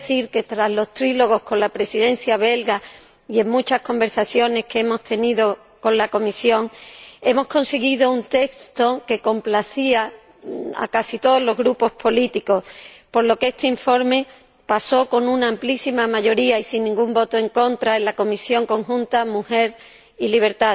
Debo decir que, tras los trílogos con la Presidencia belga y en muchas conversaciones que hemos tenido con la Comisión, hemos conseguido un texto que complacía a casi todos los grupos políticos, por lo que este informe se aprobó con una amplísima mayoría y sin ningún voto en contra en la votación conjunta de las Comisiones LIBE